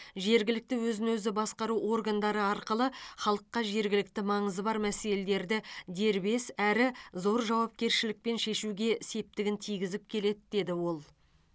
жергілікті өзін өзі басқару органдары арқылы халыққа жергілікті маңызы бар мәселелерді дербес әрі зор жауапкершілікпен шешуге септігін тигізіп келеді деді ол